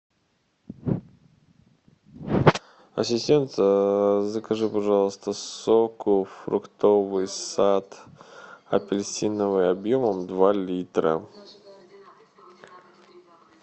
ассистент закажи пожалуйста сок фруктовый сад апельсиновый объемом два литра